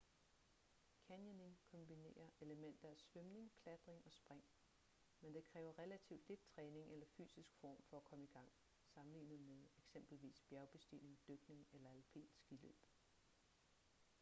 canyoning kombinerer elementer af svømning klatring og spring - men det kræver relativt lidt træning eller fysisk form for at komme i gang sammenlignet med eksempelvis bjergbestigning dykning eller alpint skiløb